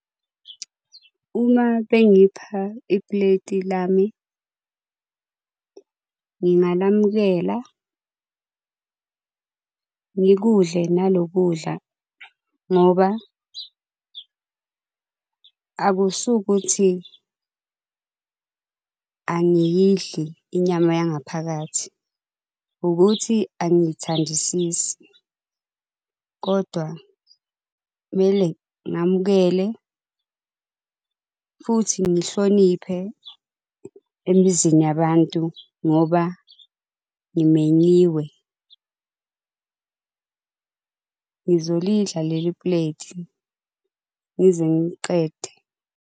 Uma bengipha ipleti lami ngingalamukela ngikudle nalo kudla ngoba akusukuthi angiyidli inyama yangaphakathi ukuthi angiyithandisisi. Kodwa kumele ngamukele futhi ngihloniphe emizini yabantu ngoba ngimenyiwe. Ngizolidla leli pleti ngize ngiliqede.